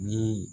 Ni